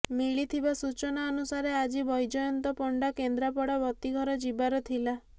ମିଳିଥିବା ସୂଚନା ଅନୁସାରେ ଆଜି ବୈଜୟନ୍ତ ପଣ୍ଡା କେନ୍ଦ୍ରାପଡ଼ା ବତୀଘର ଯିବାର ଥିଲା